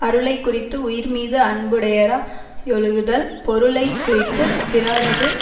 அருளைக் குறித்து உயிர் மீது அன்புடையரா யொழுகுதல் பொருளை குறித்து பிறரது